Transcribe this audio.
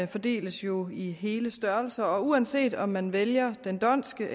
fordeles jo i hele størrelser og uanset om man vælger den dhondtske